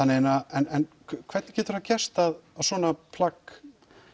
en hvernig getur það gerst að svona plagg